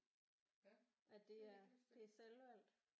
Ja det havde du ikke lyst til